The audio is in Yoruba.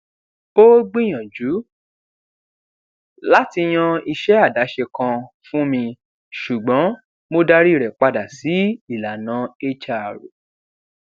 ó gbìyànjú láti yan iṣẹ àdáṣe kan fún mi ṣùgbọn mo darí rẹ padà sí ìlànà hr